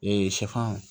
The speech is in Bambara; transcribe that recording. Ee sɛfan